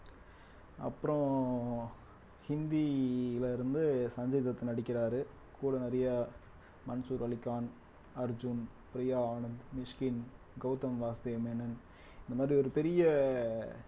அப்புறம் ஹிந்தியில இருந்து சஞ்சய்தத் நடிக்கிறாரு கூட நிறைய மன்சூர் அலிகான், அர்ஜூன், பிரியா ஆனந்த், மிஷ்கின், கௌதம் வாசுதேவ் மேனன் இந்த மாதிரி ஒரு பெரிய